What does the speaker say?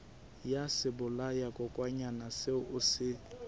ya sebolayakokwanyana seo o se